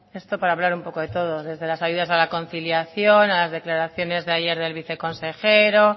esto para hablar un poco de todo desde las ayudas a la conciliación a las declaraciones ayer del viceconsejero